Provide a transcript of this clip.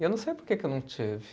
E eu não sei porque que eu não tive.